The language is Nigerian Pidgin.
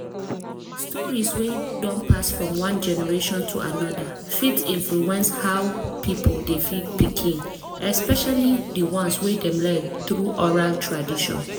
stories wey don pass from one generation to another fit influence how people dey feed pikin especially the ones wey dem learn through oral tradition.